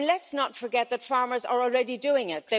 And let's not forget that farmers are already doing it.